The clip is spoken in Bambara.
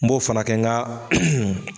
N b'o fana kɛ n ka